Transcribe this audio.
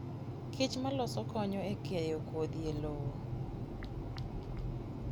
kich maloso konyo e keyo kodhi e lowo.